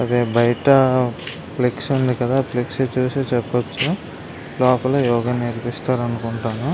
అదే బయట ఫ్లెక్సి ఉంది కదా ఫ్లెక్సి చూసి చెప్పచ్చు లోపల యోగా నేర్పిస్తారు అనుకుంటాను.